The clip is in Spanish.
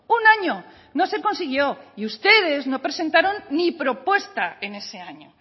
un año no se consiguió y ustedes no presentaron ni propuesta en ese año